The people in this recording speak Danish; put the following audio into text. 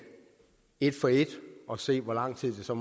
et for et og se hvor lang tid det så